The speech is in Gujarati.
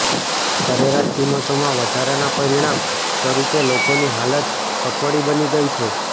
સરેરાશ કિંમતોમાં વધારાના પરિણામ સ્વરુપે લોકોની હાલત કફોડી બની ગઈ છે